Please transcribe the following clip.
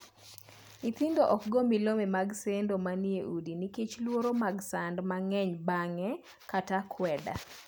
Nyithindo ok goo milome mag sendo manie udi nikech luoro mag sand mang’eny bang’e kata akweda.